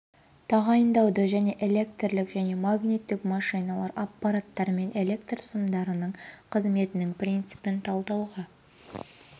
тағайындауды және электрлік және магниттік машиналар аппараттар мен электр сымдарынның қызметінің принципін талдауға